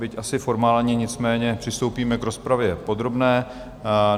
Byť asi formálně, nicméně přistoupíme k rozpravě podrobné.